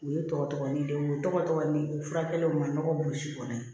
U ye tɔgɔ tɔgɔ ni denw ye u tɔgɔ tɔgɔ ni furakɛlenw ma ɲɔgɔn bosi kɔnɔ ye